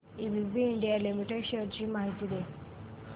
ABB India limited shares ची माहिती दे